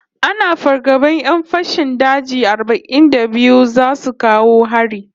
Ana fargaban 'yan fashin daji arba'in da biyu zasu kawo hari